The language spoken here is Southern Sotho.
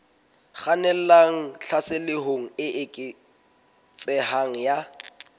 kgannelang tlhaselong e eketsehang ya